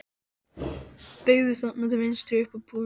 Þeir beygðu þarna til vinstri. upp að búðunum.